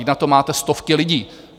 Vždyť na to máte stovky lidí!